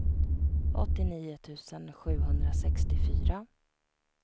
åttionio tusen sjuhundrasextiofyra